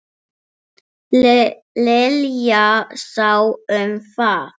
Lilla sá um það.